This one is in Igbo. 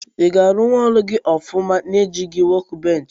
Iga arụ ọrụ gi ọfụma na ejighi wọk bench?